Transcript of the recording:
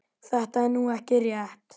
Þetta er nú ekki rétt.